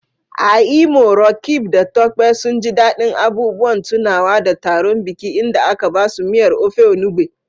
A Imo, Roqeeb da Tope sun ji daɗin abubuwan tunawa da taron biki inda aka basu miyar Ofe Enugbe.